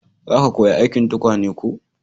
za ka koya aikin tukwane ko?